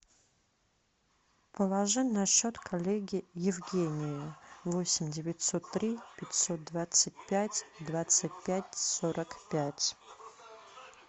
положи на счет коллеге евгению восемь девятьсот три пятьсот двадцать пять двадцать пять сорок пять